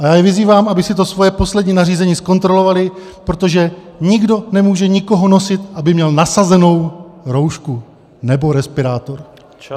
A já ji vyzývám, aby si to svoje poslední nařízení zkontrolovali, protože nikdo nemůže nikoho nutit, aby měl nasazenou roušku nebo respirátor.